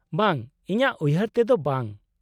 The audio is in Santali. -ᱵᱟᱝ , ᱤᱧᱟᱹᱜ ᱩᱭᱦᱟᱹᱨ ᱛᱮᱫᱚ ᱵᱟᱝ ?